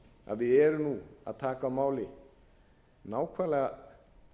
að við erum að taka á máli nákvæmlega